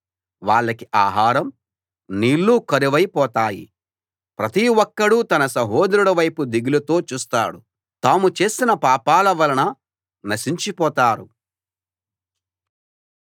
వాళ్లకి ఆహారం నీళ్ళు కరువై పోతాయి ప్రతి ఒక్కడూ తన సహోదరుడి వైపు దిగులుతో చూస్తాడు తాము చేసిన పాపాల వలన నశించిపోతారు